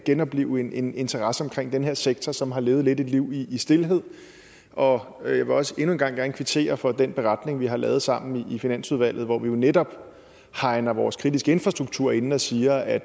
genoplive en interesse for den her sektor som lidt har levet et liv i stilhed og og jeg vil også endnu en gang gerne kvittere for den beretning vi har lavet sammen i finansudvalget hvor vi jo netop hegner vores kritiske infrastruktur inde og siger at